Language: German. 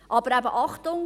Aber eben Achtung: